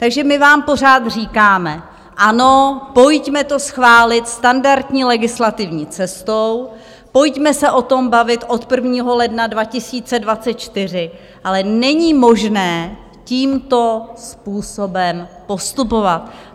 Takže my vám pořád říkáme ano, pojďme to schválit standardní legislativní cestou, pojďme se o tom bavit od 1. ledna 2024, ale není možné tímto způsobem postupovat.